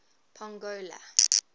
pongola